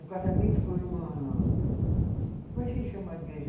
O casamento foi numa, como é que se chama a igreja?